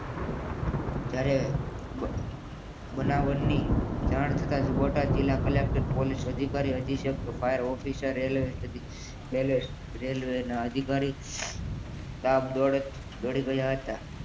જ્યારે બનાવ બની જાણ થતા જ જિલ્લા કલેકટર પોલીસ અધિકારી અધિક્ષક ફાયર ઓફિસર રેલવે રેલવેના અધિકારી સ્ટાફ તરત દોડી ગયા હતા